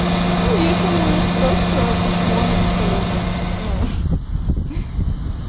ну если она у меня спросит почему она бесполезная ну